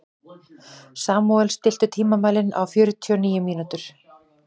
Samúel, stilltu tímamælinn á fjörutíu og níu mínútur.